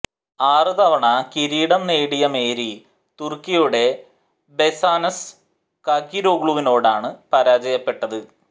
ആറ് തവണ കിരീടം നേടിയ മേരി തുര്ക്കിയുടെ ബെസെനാസ് കാകിരോഗ്ലുവിനോടാണ് പരാജയപ്പെട്ടത്